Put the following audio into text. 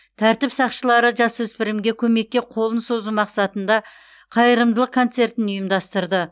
тәртіп сақшылары жасөспірімге көмекке қолын созу мақсатында қайырымдылық концертін ұйымдастырды